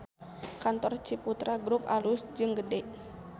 Kantor Ciputra Grup alus jeung gede